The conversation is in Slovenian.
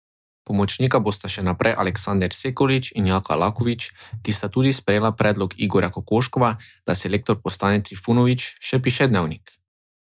Pomočnika bosta še naprej Aleksander Sekulić in Jaka Lakovič, ki sta tudi sprejela predlog Igorja Kokoškova, da selektor postane Trifunović, še piše Dnevnik.